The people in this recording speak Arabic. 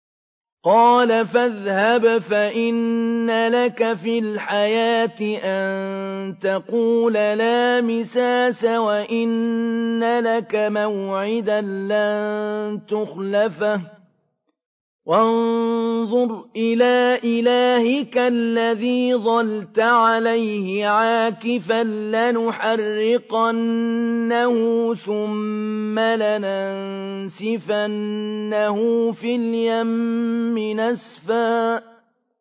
قَالَ فَاذْهَبْ فَإِنَّ لَكَ فِي الْحَيَاةِ أَن تَقُولَ لَا مِسَاسَ ۖ وَإِنَّ لَكَ مَوْعِدًا لَّن تُخْلَفَهُ ۖ وَانظُرْ إِلَىٰ إِلَٰهِكَ الَّذِي ظَلْتَ عَلَيْهِ عَاكِفًا ۖ لَّنُحَرِّقَنَّهُ ثُمَّ لَنَنسِفَنَّهُ فِي الْيَمِّ نَسْفًا